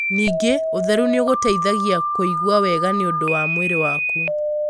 Ningĩ, ũtheru nĩ ũgũteithagia kũigua wega nĩ ũndũ wa mwĩrĩ waku.